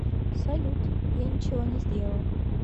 салют я ничего не сделал